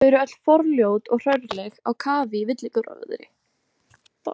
Þau eru öll forljót og hrörleg, á kafi í villigróðri.